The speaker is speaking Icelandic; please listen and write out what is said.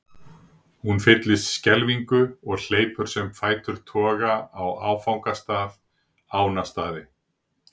Hún fyllist skelfingu og hleypur sem fætur toga á áfangastað, Ánastaði.